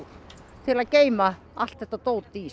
til að geyma allt þetta dót í